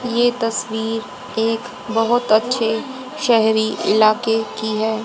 ये तस्वीर एक बहोत अच्छे शहरी इलाके की है।